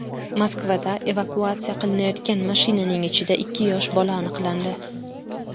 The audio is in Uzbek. Moskvada evakuatsiya qilinayotgan mashinaning ichida ikki yosh bola aniqlandi.